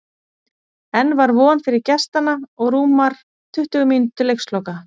Enn var von fyrir gestanna og rúmar tuttugu mínútur til leiksloka.